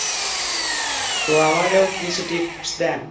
তো আমারেও কিছু tips দেন।